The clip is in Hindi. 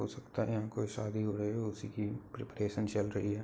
हो सकता है यहाँ कोई शादी हो रही है उसी की प्रेपरैशन चल रही है।